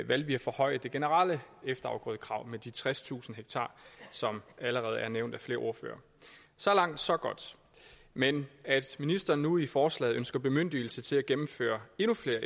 valgte vi at forhøje det generelle efterafgrødekrav med de tredstusind ha som allerede er nævnt af flere ordførere så langt så godt men at ministeren nu i forslaget ønsker bemyndigelse til at gennemføre endnu flere